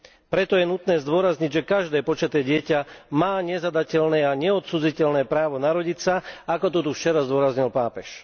Preto je nutné zdôrazniť, že každé počaté dieťa má nezadateľné a nescudziteľné právo narodiť sa, ako to tu včera zdôraznil pápež.